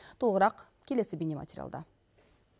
толығырақ келесі бейне материалда